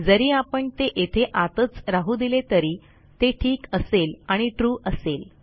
जरी आपण ते येथे आतच राहू दिले तरी ते ठीक असेल आणि ट्रू असेल